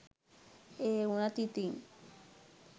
ඒවුණත් ඉතින්